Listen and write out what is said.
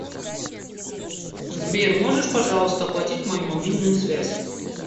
сбер можешь пожалуйста оплатить мою мобильную связь